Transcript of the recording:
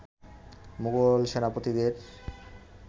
Mughal সেনাপতিদের